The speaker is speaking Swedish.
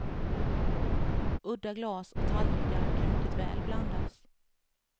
Udda glas och tallrikar kan mycket väl blandas.